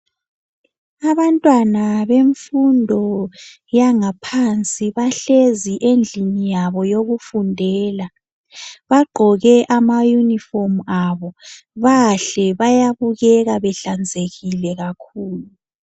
Abantwana bemfundo yangaphansi bahlezi endlini yabo yokufundela. Bagqoke amayunifomu abo. Bahle bayabukeka behlanzekile kakhulu.